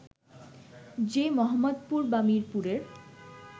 যে মোহাম্মদপুর বা মিরপুরের